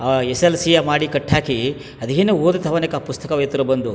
ಅಹ್ S L C ಯ ಮಾಡಿ ಕಟ್ಟ್ ಹಾಕಿ ಅದೇನೋ ಓದ್ ಕವನಕ್ ಪುಸ್ತಕವಿತ್ರ ಬಂದು.